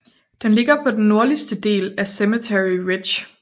Den ligger på den nordligste del af Cemetery Ridge